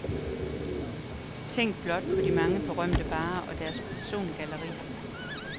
Tænk blot på de mange berømte barer og deres persongalleri.